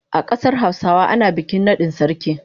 A kasar Hausawa ana bikin nadin sarki.